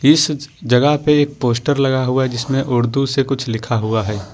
इस जगह पे एक पोस्टर लगा हुआ है जिसमें उर्दू से कुछ लिखा है।